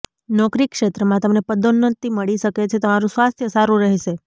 નોકરી ક્ષેત્રમાં તમને પદોન્નતિ મળી શકે છે તમારું સ્વાસ્થ્ય સારું રહેશે